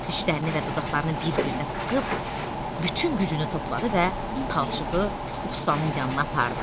Dişlərini və dodaqlarını bir-birinə sıxıb bütün gücünü topladı və palçığı ustanın yanına apardı.